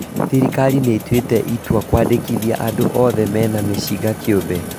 Thirikari nĩĩtuĩte itua kwandĩkithia andũ othe mena mĩcinga kĩũmbe